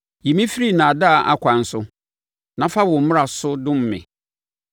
Yi me firi nnaadaa akwan so; na fa wo mmara so dom me.